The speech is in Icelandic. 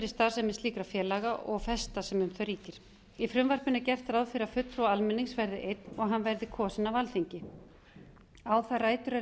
fyrri starfsemi slíkra félaga og festa sem um það ríkir í frumvarpinu er gert ráð fyrir að fulltrúi almennings verði einn og hann verði kosinn af alþingi á það rætur að